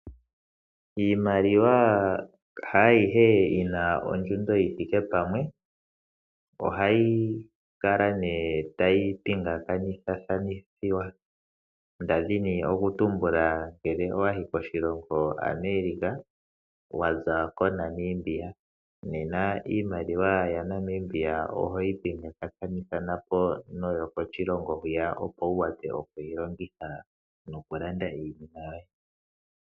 Iimaliwa haayihe yina ondjundo yithike pamwe, oha yi kala nee tayi pingakathathanithiwa, ndadhini okutumbula ngele owayi koshilongo America waza KoNamibia nena iimaliwa ya Namibia oho yi pingakathanithapo noyokoshilongo hwiya opo wu wape oku yilongitha nokulanda iinima yoye.